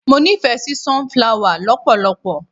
Mo nífẹ̀ẹ́ sí sun-flower lọpọlọpọ.